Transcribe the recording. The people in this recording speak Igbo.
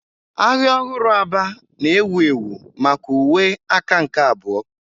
Ahịa ọhụrụ Aba na-ewu ewu maka uwe aka nke abụọ.